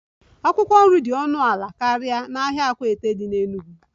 Akwụkwọ nri dị ọnụ ala karịa n'ahịa akwata dị n'Enugwu